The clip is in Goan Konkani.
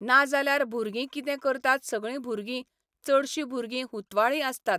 नाजाल्यार भुरगीं कितें करतात सगळीं भुरगीं, चडशीं भुरगीं हुतवाळी आसतात.